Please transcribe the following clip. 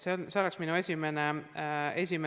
See oleks minu esimene vastus.